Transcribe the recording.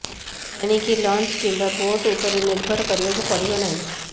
ଏଣିକି ଲଞ୍ଚ କିମ୍ବା ବୋଟ୍ ଉପରେ ନିର୍ଭର କରିବାକୁ ପଡିବ ନାହିଁ